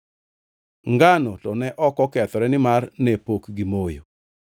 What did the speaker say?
Ngano to ne ok okethore nimar ne pok gimoyo.)